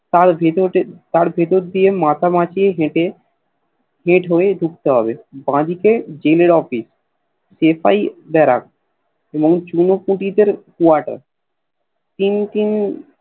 তার ভেতরে তার ভেতর দিয়ে মাঝমাঝি হেটে Gate হয়ে ঢুকতে হবে বাদিকে জেল এর Office সেপাই দারক ও চুনপুটি দের কোয়াটার তিন তিন